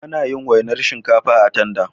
Anayin wainar shinkafa a tanda